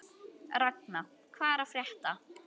Ragna, hvað er að frétta?